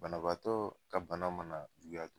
Banabaatɔ ka bana mana juguya.